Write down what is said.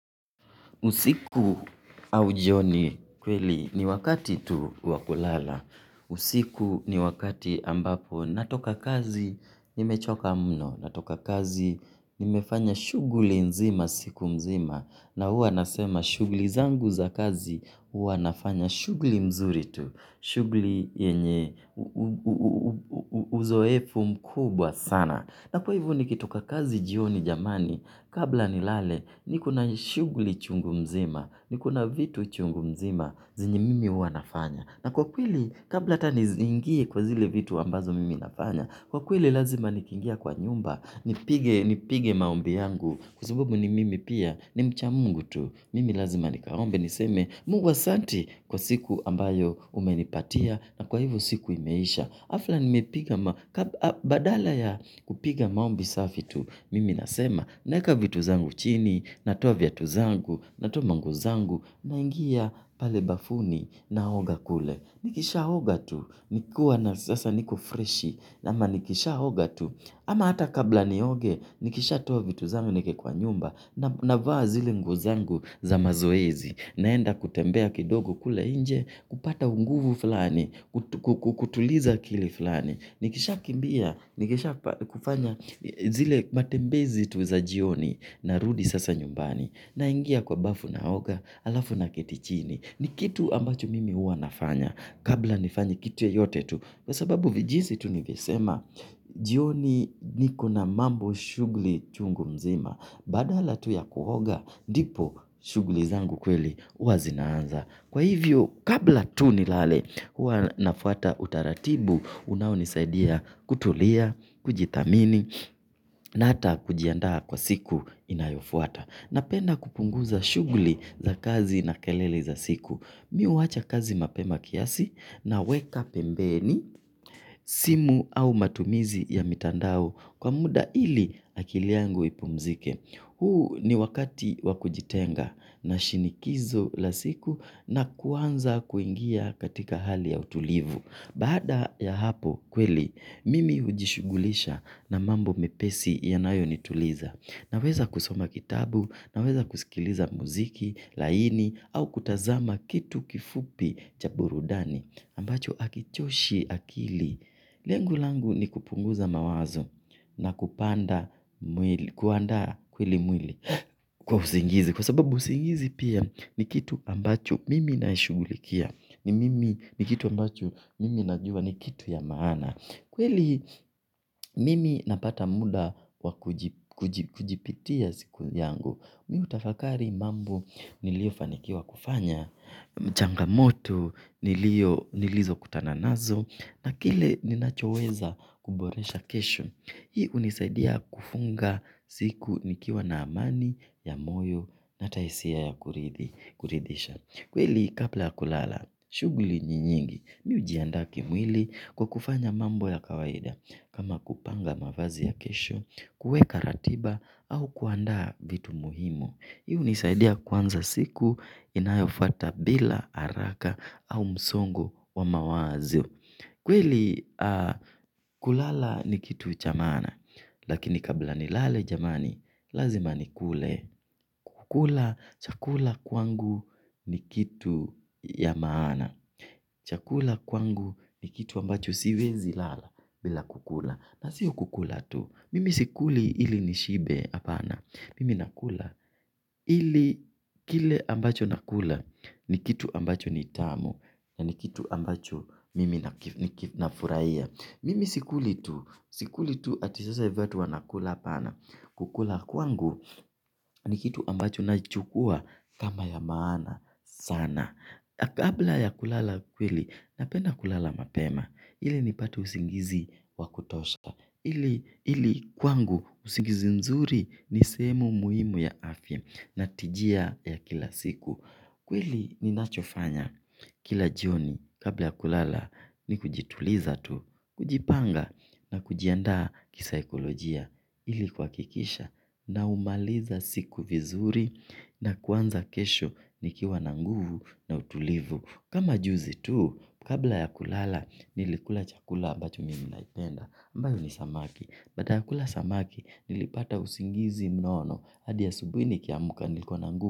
Usiku au jioni kweli ni wakati tu wa kulala. Usiku ni wakati ambapo. Natoka kazi nimechoka mno. Natoka kazi nimefanya shuguli nzima siku mzima. Na huwa nasema shughuli zangu za kazi huwa nafanya shughuli nzuri tu shughuli yenye uzoefu mkubwa sana. Na kwa hivyo nikitoka kazi jioni jamani, kabla nilale, niko na shughuli chungu mzima, niko na vitu chungu mzima zenye mimi huwa nafanya. Na kwa kweli, kabla hata ni zingie kwa zile vitu ambazo mimi nafanya, kwa kweli lazima nikiingia kwa nyumba, nipige maombi yangu, kwa sababu ni mimi pia, ni mcha Mungu tu. Mimi lazima nikaombe niseme Mungu asante kwa siku ambayo umenipatia na kwa hivyo siku imeisha. Hafla nimepiga badala ya kupiga maombi safi tu. Mimi nasema naweka vitu zangu chini, natoa vitu zangu, natoa manguo zangu, naingia pale bafuni naoga kule. Nikishaoga tu nikiwa na sasa niko freshi ama nikishaoga tu. Ama hata kabla nioge, nikishatoa vitu zangu niweke kwa nyumba, navaa zile nguo zangu za mazoezi, naenda kutembea kidogo kule nje, kupata unguvu fulani, kutuliza akili fulani. Nikishakimbia, nikishakufanya zile matembezi tu za jioni, narudi sasa nyumbani, naingia kwa bafu naoga, halafu naketi chini. Ni kitu ambacho mimi huwa nafanya. Kabla nifanye kitu yoyote tu. Kwa sababu vijinsi tu nilivyosema, jioni niko na mambo shughuli chungu mzima. Badala tu ya kuoga ndipo shughuli zangu kweli huwa zinaanza kwa hivyo, kabla tu nilale, huwa nafuata utaratibu, unaonisaidia kutulia, kujithamini, na hata kujiandaa kwa siku inayofuata. Napenda kupunguza shughuli za kazi na kelele za siku. Mi huacha kazi mapema kiasi naweka pembeni, simu au matumizi ya mitandao kwa muda ili akili yangu ipumzike. Huu ni wakati wakujitenga na shinikizo la siku na kuanza kuingia katika hali ya utulivu. Baada ya hapo kweli, mimi hujishughulisha na mambo mepesi yanayonituliza. Naweza kusoma kitabu, naweza kusikiliza muziki laini au kutazama kitu kifupi cha burudani. Ambacho hakichoshi akili. Lengo langu ni kupunguza mawazo na kupanda mwili, kuandaa kweli mwili kwa usingizi. Kwa sababu usingizi pia ni kitu ambacho mimi naishughulikia. Ni mimi ni kitu ambacho mimi najua ni kitu ya maana. Kweli mimi napata muda wa kujipitia siku yangu mi hutafakari mambo niliofanikiwa kufanya, changamoto nilizokutana nazo, na kile ninachoweza kuboresha kesho. Hii hunisaidia kufunga siku nikiwa na amani ya moyo na hata hisia ya kuridhisha. Kweli kabla ya kulala, shughuli ni nyingi, mi hujiandaa kimwili kwa kufanya mambo ya kawaida kama kupanga mavazi ya kesho, kuweka ratiba au kuandaa vitu muhimu, hii hunisaidia kuanza siku inayofuata bila haraka au msongo wa mawazo kweli kulala ni kitu cha maana lakini kabla nilale jamani, lazima nikule. Kukula chakula kwangu ni kitu ya maana chakula kwangu ni kitu ambacho siwezi lala bila kukula na siyo kukula tu, mimi sikuli ili nishibe hapana, mimi nakula ili kile ambacho nakula ni kitu ambacho ni tamu ni kitu ambacho mimi nafurahia. Mimi sikuli tu, sikuli tu ati sasa hivi watu wanakula hapana, kukula kwangu ni kitu ambacho nachukua kama ya maana sana na kabla ya kulala kweli napenda kulala mapema ili nipate usingizi wa kutosha, ili ili kwangu usingizi mzuri ni sehemu muhimu ya afya na tijia ya kila siku kweli ninachofanya kila jioni kabla ya kulala ni kujituliza tu kujipanga na kujiandaa kisaikolojia ili kuhakikisha naumaliza siku vizuri na kuanza kesho nikiwa na nguvu na utulivu. Kama juzi tu kabla ya kulala nilikula chakula ambacho mimi naipenda, ambayo ni samaki. Baada ya kula samaki, nilipata usingizi mnono hadi asubuhi nikiamka nilikuwa na nguvu.